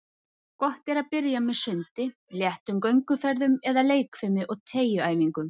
Gott er að byrja með sundi, léttum gönguferðum eða leikfimi og teygjuæfingum.